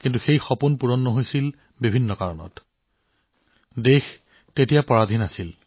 দেশখন তেতিয়া দাসত্বৰ অধীনত আছিল তেতিয়া কিছুমান পৰিস্থিতিত সেই শৈশৱৰ সপোনটো সপোন হৈ ৰৈছিল